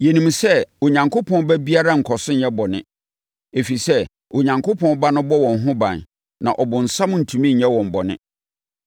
Yɛnim sɛ Onyankopɔn ba biara nkɔ so nyɛ bɔne, ɛfiri sɛ, Onyankopɔn Ba no bɔ wɔn ho ban, na ɔbonsam ntumi nyɛ wɔn bɔne.